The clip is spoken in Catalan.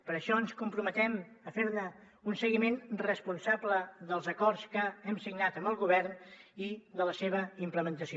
per això ens comprometem a fer un seguiment responsable dels acords que hem signat amb el govern i de la seva implementació